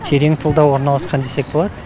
терең тылда орналасқан десек болады